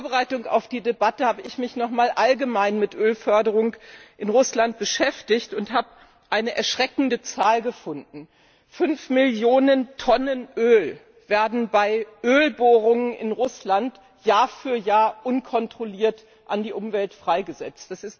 In Vorbereitung auf die Debatte habe ich mich noch einmal allgemein mit der Ölförderung in Russland beschäftigt und habe eine erschreckende Zahl gefunden 5 Millionen Tonnen Öl werden bei Ölbohrungen in Russland Jahr für Jahr unkontrolliert in die Umwelt freigesetzt.